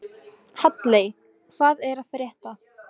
Halley, hvað er að frétta?